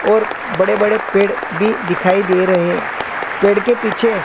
और बड़े बड़े पेड़ भी दिखाई दे रहे पेड़ के पीछे--